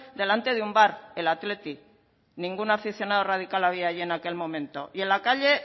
delante de un bar el athletic ningún aficionado radical había allí en aquel momento y en la calle